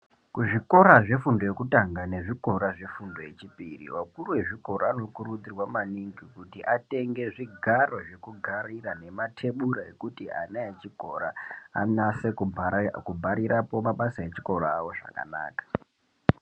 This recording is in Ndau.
Kuzvikora zvefundo yekutanga nezvefundo yechipiri vakuru vezvikora vanokuridzirwa maningi kuti vatenge zvigaro zvekugarira matebura ekuti ana echikora anase kubharirapo mabasa echikora chawo zvakanaka.